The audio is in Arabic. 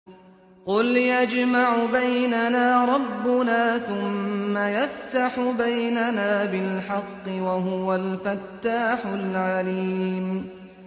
قُلْ يَجْمَعُ بَيْنَنَا رَبُّنَا ثُمَّ يَفْتَحُ بَيْنَنَا بِالْحَقِّ وَهُوَ الْفَتَّاحُ الْعَلِيمُ